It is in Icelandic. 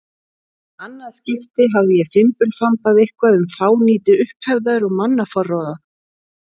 annað skipti hafði ég fimbulfambað eitthvað um fánýti upphefðar og mannaforráða.